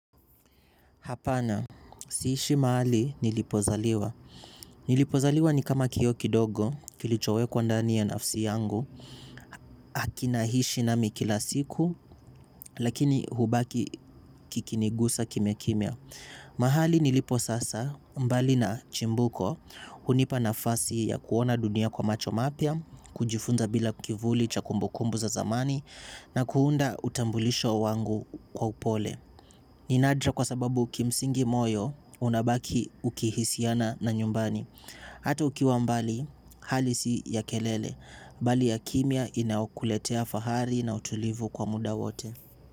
Hapana, siishi mahali nilipozaliwa. Nilipozaliwa ni kama kiyoo kidogo, kilichowekwa ndani ya nafsi yangu, akina hishi nami kila siku, lakini hubaki kikinigusa kime kimia. Mahali nilipo sasa, mbali na chimbuko, hunipa nafasi ya kuona dunia kwa macho mapia, kujifunza bila kivuli cha kumbukumbu za zamani, na kuunda utambulisho wangu kwa upole. Ninadra kwa sababu ki msingi moyo unabaki uki hisiana na nyumbani. Hato ukiwa mbali hali si ya kelele. Mbali ya kimia inaokuletea fahari na utulivu kwa muda wote.